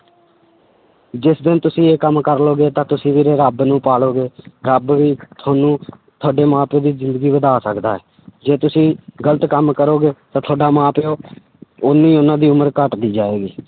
ਜਿਸ ਦਿਨ ਤੁਸੀਂ ਇਹ ਕੰਮ ਕਰ ਲਓਗੇ ਤਾਂ ਤੁਸੀਂ ਵੀਰੇ ਰੱਬ ਨੂੰ ਪਾ ਲਓਗੇ ਰੱਬ ਵੀ ਤੁਹਾਨੂੰ ਤੁਹਾਡੇ ਮਾਂ ਪਿਓ ਦੀ ਜ਼ਿੰਦਗੀ ਵਧਾ ਸਕਦਾ ਹੈ ਜੇ ਤੁਸੀਂ ਗ਼ਲਤ ਕੰਮ ਕਰੋਗੇ ਤਾਂ ਤੁਹਾਡਾ ਮਾਂ ਪਿਓ ਓਨੀ ਉਹਨਾਂ ਦੀ ਉਮਰ ਘੱਟਦੀ ਜਾਏਗੀ।